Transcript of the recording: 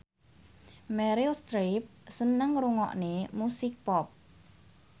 Meryl Streep seneng ngrungokne musik pop